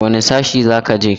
Wane sashe za ka je?